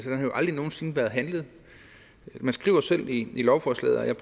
aldrig nogen sinde været handlet man skriver selv i lovforslaget og jeg